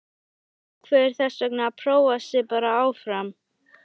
Hún ákveður þessvegna að prófa sig bara áfram.